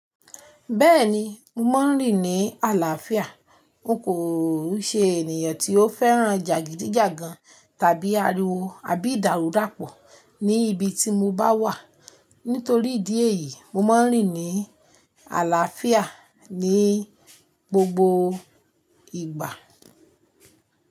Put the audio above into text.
Bẹ́ẹ̀ni, mo máa ń rìn ní àlàáfíà. N kò ṣe ènìyàn tí ó fẹ́ràn jàgídíjàgan tàbí ariwo abí ìdàrúdàpọ̀ ní ibi tí mo bá wà. Nítorí ìdí èyí, mo máa ń rìn ní àlàáfíà ní gbogbo ìgbà.